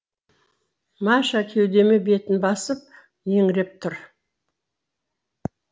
маша кеудеме бетін басып еңіреп тұр